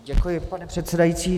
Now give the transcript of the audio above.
Děkuji, pane předsedající.